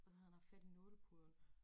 Og så havde han haft fat i nålepuden